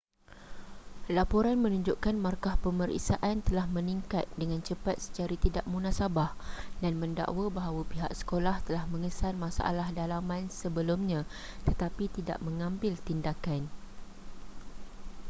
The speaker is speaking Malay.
laporan menunjukkan markah pemeriksaan telah meningkat dengan cepat secara tidak munasabah dan mendakwa bahawa pihak sekolah telah mengesan masalah dalaman sebelumnya tetapi tidak mengambil tindakan